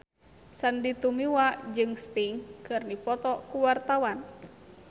Sandy Tumiwa jeung Sting keur dipoto ku wartawan